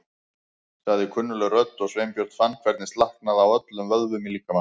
sagði kunnugleg rödd og Sveinbjörn fann hvernig slaknaði á öllum vöðvum í líkama hans.